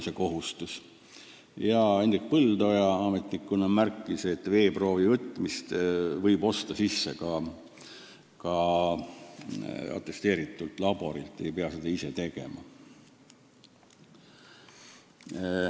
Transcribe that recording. Hendrik Põldoja märkis, et veeproovi võtmise teenuse võib osta ka atesteeritud laborilt, ei pea seda ise tegema.